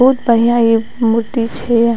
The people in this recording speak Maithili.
बोहुत बढ़िया इ मूर्ति छैये।